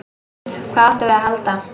Hvað áttum við að halda?